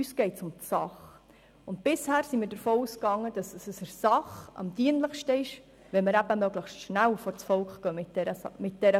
Uns geht es um die Sache, und bisher sind wir davon ausgegangen, dass es der Sache am dienlichsten ist, wenn wir mit dieser Frage möglichst schnell vors Volk gehen.